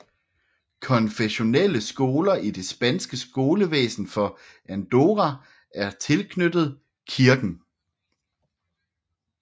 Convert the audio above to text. Konfessionelle skoler i det spanske skolevæsen for Andorra er tilknyttet kirken